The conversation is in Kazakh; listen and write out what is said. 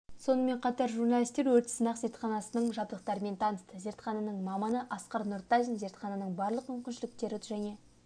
сонымен қатар журналистер өрт сынақ зертханасының жабдықтарымен танысты зертхананың маманы асқар нұртазин зертхананың барлық мүмкіншіліктері және